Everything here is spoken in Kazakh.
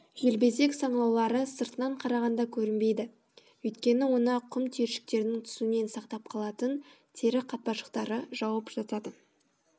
желбезек саңылаулары сыртынан қарағанда көрінбейді өйткені оны құм түйіршіктерінің түсуінен сақтап қалатын тері қатпаршақтары жауып жатады